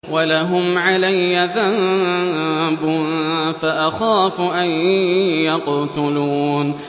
وَلَهُمْ عَلَيَّ ذَنبٌ فَأَخَافُ أَن يَقْتُلُونِ